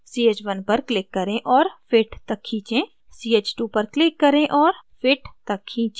ch1 पर click करें और fit तक खींचें ch2 पर click करें और fit तक खींचें